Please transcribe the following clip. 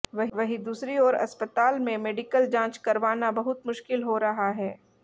वहीं दूसरी ओर अस्पताल में मेडिकल जांच करवाना बहुत मुश्किल हो रहा है